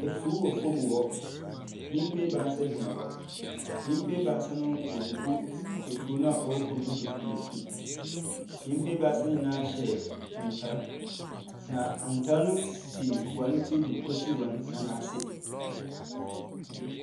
Afuw wɔ famu hɔ. Nnyimpa ebaasa gyina hɔ. Nyimpa ebaasa no wɔregugu nsuo no a ɔwɔ fam no do nsuo. Nyimpa ebaasa yi nyinaa hyɛ ntar, na ntar no si hɔn tir do kosi hɔn anan ase.